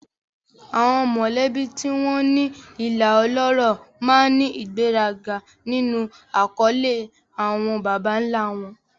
Àwọn mọ̀lẹ́bí tí wọ́n ní ìlà ọlọ́rọ̀ máa ń ní ìgbéraga nínú àkọlé àwọn baba ńlá wọn.